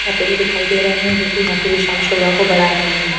रखे हुए दिखाई दे रहे हैं जो कि यहां की विशाल शोभा को बढ़ा रहे हैं।